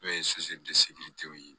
N'o ye ye